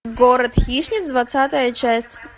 город хищниц двадцатая часть